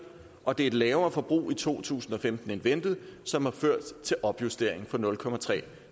og det er et lavere forbrug i to tusind og femten end ventet som har ført til opjusteringen fra nul